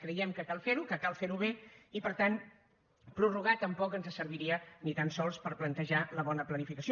creiem que cal fer ho que cal fer ho bé i per tant prorrogar tampoc ens serviria ni tan sols per plantejar la bona planificació